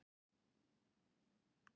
Ekki fara í hart